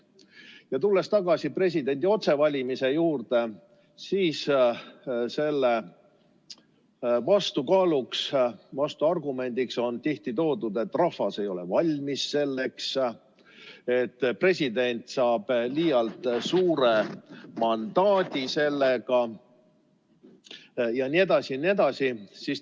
Ja tulles tagasi presidendi otsevalimise juurde, siis selle vastuargumendina on tihti öeldud, et rahvas ei ole selleks veel valmis, president saab liialt suure mandaadi jne.